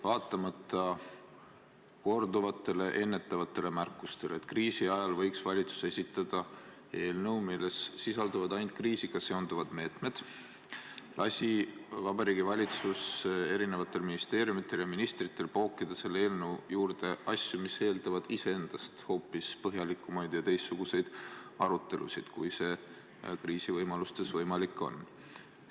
Vaatamata korduvatele ennetavatele märkustele, et kriisi ajal võiks valitsus esitada eelnõu, milles sisalduvad ainult kriisiga seotud meetmed, lasi Vabariigi Valitsus erinevatel ministeeriumidel ja ministritel pookida selle eelnõu külge asju, mis eeldavad hoopis teistsuguseid, põhjalikumaid arutelusid, kui kriisiajal võimalik on.